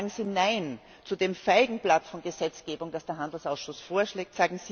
Sagen Sie Nein zu dem Feigenblatt von Gesetzgebung, das der Handelsausschuss vorschlägt!